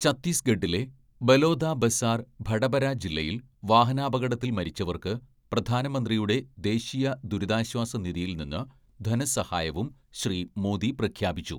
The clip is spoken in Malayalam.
ഛത്തീസ്ഗഡിലെ ബലോദബസാർ ഭടപര ജില്ലയിൽ വാഹനാപകടത്തിൽ മരിച്ചവർക്ക് പ്രധാനമന്ത്രിയുടെ ദേശീയ ദുരിതാശ്വാസ നിധിയിൽ നിന്ന് ധനസഹായവും ശ്രീ മോദി പ്രഖ്യാപിച്ചു.